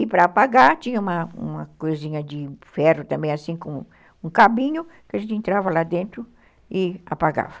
E para apagar, tinha uma coisinha de ferro também, assim, com um cabinho, que a gente entrava lá dentro e apagava.